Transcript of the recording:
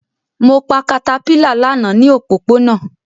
Mo pa caterpillar lana ni opopona